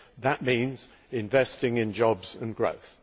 That means investing in jobs and growth.